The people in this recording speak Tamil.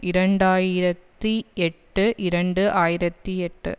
இரண்டு ஆயிரத்தி எட்டு இரண்டு ஆயிரத்தி எட்டு